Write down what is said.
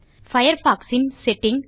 Firefox ன் setting